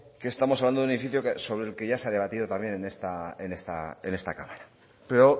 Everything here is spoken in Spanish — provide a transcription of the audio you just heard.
que estamos hablando de un edificio sobre el que ya se ha debatido también en esta cámara pero